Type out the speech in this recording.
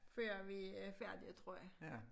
Før vi færdige tror jeg